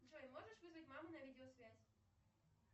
джой можешь вызвать маму на видеосвязь